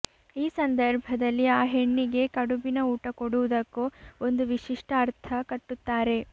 ಈ ಸಂದರ್ಭದಲ್ಲಿ ಆ ಹೆಣ್ಣಿಗೆ ಕಡುಬಿನ ಊಟ ಕೊಡುವುದಕ್ಕೂ ಒಂದು ವಿಶಿಷ್ಟ ಅರ್ಥ ಕಟ್ಟುತ್ತಾರೆ